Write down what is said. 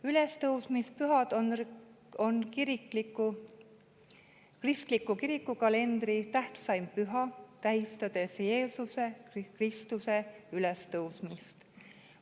Ülestõusmispühad on kristliku kirikukalendri tähtsaim püha, mis tähistab Jeesuse Kristuse ülestõusmist.